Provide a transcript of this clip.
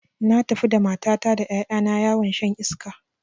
Na tafi da matata da ƴaƴa na yawon shan iska